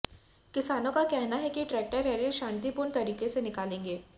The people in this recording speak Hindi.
किसानों का कहना है कि ट्रैक्टर रैली शांतिपूर्ण तरीके से निकालेंगे